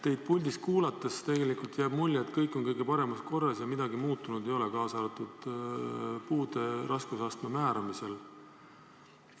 Teid puldis kuulates jääb mulje, et kõik on kõige paremas korras ja midagi muutunud ei ole, kaasa arvatud puude raskusastme määramisel.